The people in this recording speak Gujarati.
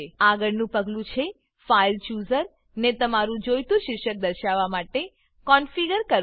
આગળનું પગલું છે ફાઇલ ચૂઝર ફાઈલ ચુઝર ને તમારું જોઈતું શીર્ષક દર્શાવવા માટે કોન્ફિગર કોનફીગર કરવું